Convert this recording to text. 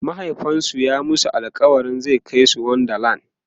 mahaifinsu ya masu alkawalin zai Kai su wonder land